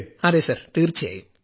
അതേ സർ തീർച്ചയായും